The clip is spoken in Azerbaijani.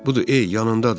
Budur, ey, yanındadır.